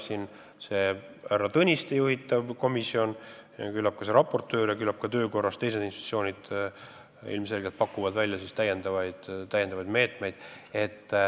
Usun, et härra Tõniste juhitav komisjon ja ka eelmainitud raportöör, samuti teised institutsioonid pakuvad oma töö korras välja täiendavaid meetmeid.